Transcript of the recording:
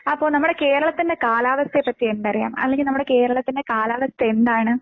അപ്പൊ നമ്മുടെ കേരളത്തിന്റെ കാലാവസ്ഥയെപ്പറ്റി എന്തറിയാം? അല്ലെങ്കി നമ്മുടെ കേരളത്തിന്റെ കാലാവസ്ഥ എന്താണ്?